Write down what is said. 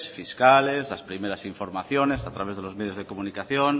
fiscales las primeras informaciones a través de los medios de comunicación